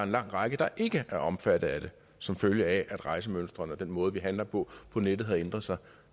lang række der ikke er omfattet af det som følge af at rejsemønstrene og den måde vi handler på på nettet har ændret sig